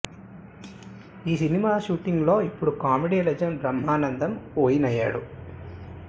ఈ cinema shooting లో ఇప్పుడు కామెడీ లెజెండ్ బ్రహ్మానందం ఒయిన్ అయ్యాడు